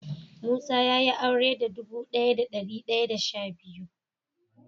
Musa ya Yi aure da dubu daya da dari daya da sha biyu.